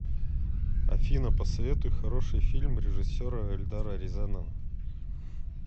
афина посоветуй хороший фильм режиссера эльдара рязанова